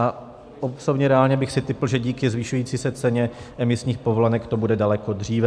A osobně reálně bych si tipl, že díky zvyšující se ceně emisních povolenek to bude daleko dříve.